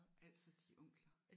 Altså de onkler